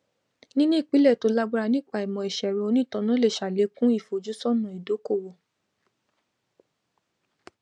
níní ìpìlẹ tó lágbára nípa ìmọ iṣẹẹrọ onítanná lè sàlékún ìfojúsọnà ìdókòwò